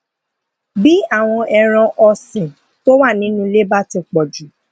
bí àwọn ẹran òsìn tó wà nínú ilé bá ti pò jù